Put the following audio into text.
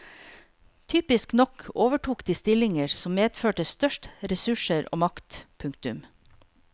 Typisk nok overtok de stillinger som medførte størst ressurser og makt. punktum